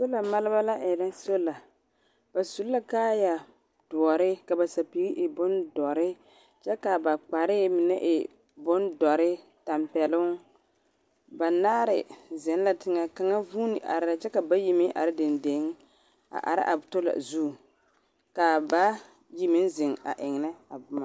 … maalba la erɛ soola. Ba su la bondɔre ka ba sapigi e bondɔre, kyɛ ka ba kpare mine e bondɔre, tampɛloŋ. Banaare zeŋ la teŋɛ, kaŋa vuuni arɛɛ la, kyɛ ka bayi meŋ are dendeŋ, a are a soola zuŋ, ka ba yi meŋ zeŋ a ennɛ a boma.